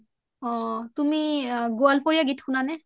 অ তুমি গ'লপোৰিয়া গীত শুনানে ?